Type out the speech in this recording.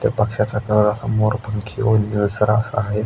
त्या पक्षाचा कलर असा मोरपंखी व निळसर असा आहे.